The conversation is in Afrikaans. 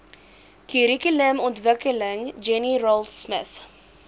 kurrikulumontwikkeling jenny raultsmith